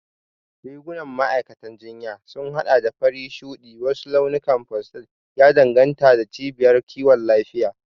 Rigunan ma'aikatan jinya sukan haɗa da fari, shuɗi, ko wasu launukan pastel, ya danganta da cibiyar kiwon lafiya.